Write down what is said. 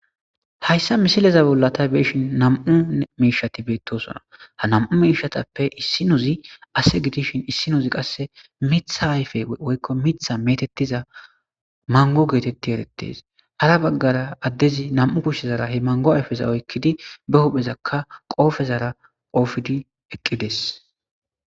Hayssa misileza bollata beishin nam'u miishati beettosona. Ha nam'u miishatappe issi nuzi ase gidishin issi nuzi qasse mitha ayfe woykko mitha metettiza mango geetetti erettes. Hara baggara addezi nam'u kushshezara he mango ayfeza oykkidi be huphezakka qoofezara qoofidi eqqides.